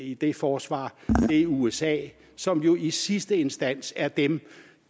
i det forsvar er usa som jo i sidste instans er dem